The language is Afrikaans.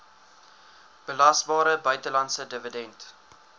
belasbare buitelandse dividend